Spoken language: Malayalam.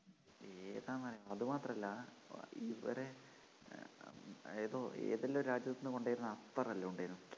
ഏതാന്നറിയാൻ അതുമാത്രല്ല ഇവരെ ഏതോ ഏതെല്ലാം രാജ്യത്തുന്നു കൊണ്ടരുന്ന അത്തറെല്ലാം ഉണ്ടായേനു